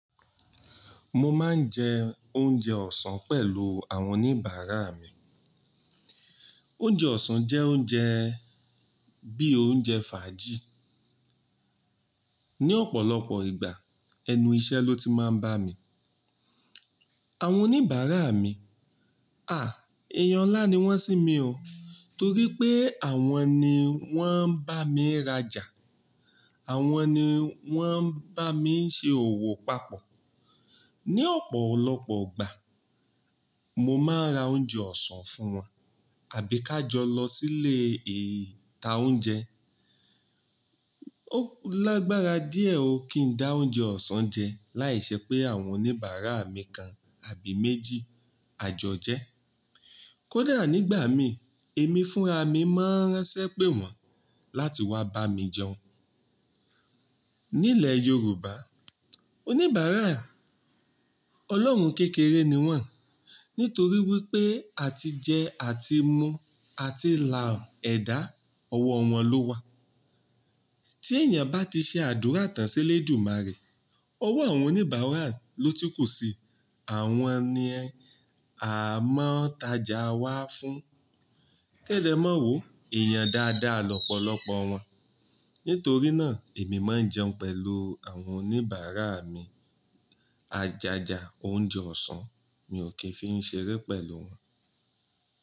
Mo máa ń jẹ oúnjẹ ọ̀sán pẹ̀lú àwọn oníbàárà mi. Oúnjẹ ọ̀sán jẹ́ oúnjẹ bí i oúnjẹ fàájì. Ni ọ̀pọ̀lọpọ̀ ìgbà ẹnu iṣẹ́ ló ti máa ń bà mí. Àwọn oníbàárà mi, à, èèyàn ńlá ni wọ́n sí mi o. Nítorí pé àwọn ni wọ́n ń bá mi rajà, àwọn ni wọ́n ń bá mi ṣe òwò papọ̀. Ni ọ̀pọ̀lọpọ̀ ìgbà mo máa ń ra oúnjẹ ọ̀sán fún wọn àbí ká jọ lọ sílé ìta oúnjẹ. Ó lágbára díẹ̀ o kí n dá oúnjẹ ọ̀sán jẹ láìṣẹ́ pé àwọn oníbàárà mi kan àbí méjì àjọ jẹ. Kódà nígbà mi, èmi fúnra mi máa ń ránṣẹ́ pé wọ́n láti wá bá mi jẹun. Nílẹ̀ Yorùbá, oníbàárà, Ọlọ́run kékeré ni wọ́n. Nítorí wípé a ti jẹ, a ti mu, a ti la ẹ̀dá, ọwọ́ wọn ló wá. Tí èèyàn bá ti ṣe àdúrà tán sí lédumárè, owó àwọn oníbàárà ló tún kù síi. Àwọn ni a máa ń tajà wá fún. Kẹ́ de ma wo, èèyàn dáadáa lọ́pọ̀lọpọ̀ wọn. Nítorí náà èmi máa ń jẹun pẹ̀lú àwọn oníbàárà mi. Ajaja oúnjẹ ọ̀sán mi ò kí ń fi ṣeré pẹ̀lú wọn.